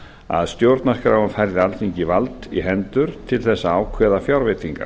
að stjórnarskráin færði alþingi vald í hendur til þess að ákveða fjárveitingar